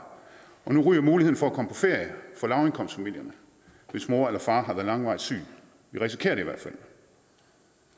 og nu ryger muligheden for at komme på ferie for lavindkomstfamilierne hvis mor eller far har været langvarigt syge det risikerer de